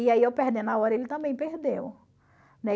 E aí eu perdendo a hora, ele também perdeu. Né?